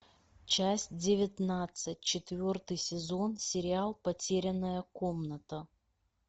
часть девятнадцать четвертый сезон сериал потерянная комната